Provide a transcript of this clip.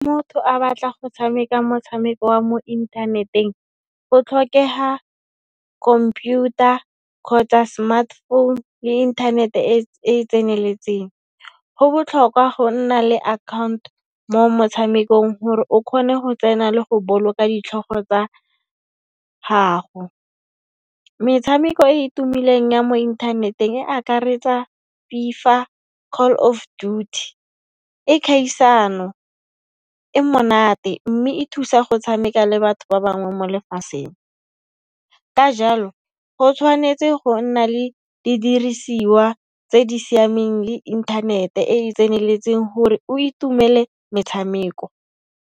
Motho a batla go tshameka motshameko wa mo inthaneteng, go tlhokeha komputa kgotsa smart phone le internet-e e e tseneletseng. Go botlhokwa go nna le account mo motshamekong hore o khone ho tsena le go boloka ditlhogo tsa gago. Metshameko e e tumileng ya mo inthaneteng e akaretsa FIFA, Call of Duty, ke khaisano e monate mme e thusa go tshameka le batho ba bangwe mo lefaseng. Ka jalo, go tshwanetse go nna le didirisiwa tse di siameng le inthanete e e tseneletseng gore o itumele metshameko.